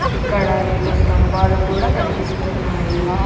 ఇక్కడ రెండు స్తంభాలు కూడా కనిపిస్తున్నాయి.